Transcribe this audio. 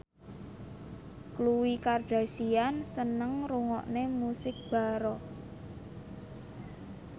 Khloe Kardashian seneng ngrungokne musik baroque